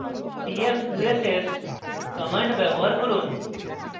t f 2 s s command ব্যবহার করুন